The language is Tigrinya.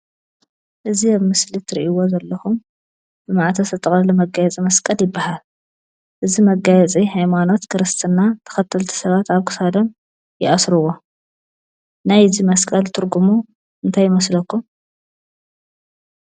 እዚ አብ ምስሊ እትሪኢዎ ዘለኹም ብማዕተብ ዝተጠቕለለ መጋየፂ መስቀል ይበሃል፡፡ እዚ መጋየፂ ሃይማኖት ክርስትና ተኸተልቲ ሰባት አብ ክሳዶም ይአስርዎ ናይዚ መስቀል ትርጉሙ እንታይ ይመስለኩም?